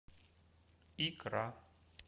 икра